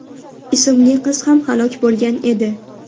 ismli qiz ham halok bo‘lgan edi.